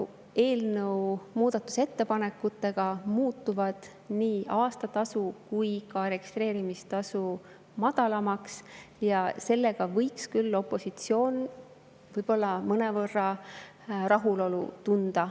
Eelnõu muudatusettepanekute kohaselt muutuvad nii aastamaks kui ka registreerimistasu madalamaks ja tänu sellele võiks opositsioon küll mõnevõrra rahulolu tunda.